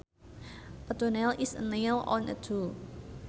A toenail is a nail on a toe